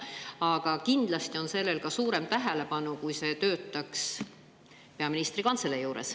Aga kindlasti saaks see suurema tähelepanu, kui töötaks peaministri büroo juures.